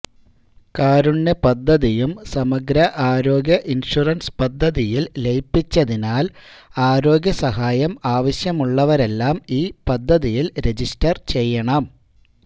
കാരുണ്യ പദ്ധതിയും സമഗ്ര ആരോഗ്യ ഇന്ഷുറന്സ് പദ്ധതിയില് ലയിപ്പിച്ചതിനാല് ആരോഗ്യ സഹായം ആവശ്യമുള്ളവരെല്ലാം ഈ പദ്ധതിയില് രജിസ്റ്റര് ചെയ്യണം